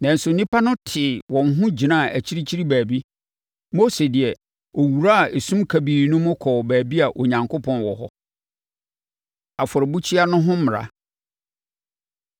Nanso, nnipa no tee wɔn ho gyinaa akyirikyiri baabi. Mose deɛ, ɔwuraa esum kabii no mu kɔɔ baabi a Onyankopɔn wɔ hɔ. Afɔrebukyia No Ho Mmara